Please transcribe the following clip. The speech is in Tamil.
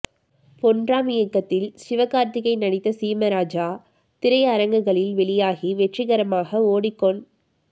பொன்ராம் இயக்கத்தில் சிவகார்த்திகேயன் நடித்த சீமராஜா திரையரங்குகளில் வெளியாகி வெற்றிகரமாக ஓடிக் கொண்